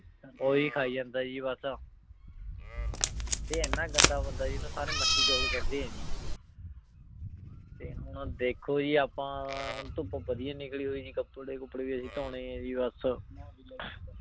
ਓਹੀ ਖਾਈ ਜਾਂਦਾ ਜੀ ਬਾਸ ਊ ਤੇ ਏਨਾ ਗੰਦਾ ਬੰਦਾ ਜੀ ਏਨੁ ਸਾਰੇ ਮਚੀ ਚੋਰ ਕੇਹ੍ਨ੍ਡੇ ਆਯ ਜੀ ਤੇ ਹੁਣ ਦੇਖੋ ਜੀ ਆਪਾਂ ਹੁਣ ਤੇ ਧੂਪ ਜੀ ਨਿਕਲੀ ਹੋਈ ਜੀ ਕਪਰੇ ਕੁਪ੍ਰੀ ਵੀ ਅਸੀਂ ਧੋਨੀ ਜੀ ਬਾਸ